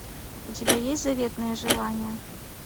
у тебя есть заветное желание